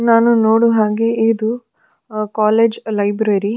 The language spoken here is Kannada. ನಾನು ನೋಡುವ ಹಾಗೆ ಇದು ಕೋಲೇಜ್ ಲೈಬ್ರೆರಿ .